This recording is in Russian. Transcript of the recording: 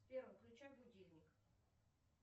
сбер выключай будильник